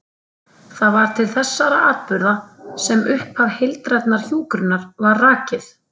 Það var til þessara atburða sem upphaf heildrænnar hjúkrunar var rakið.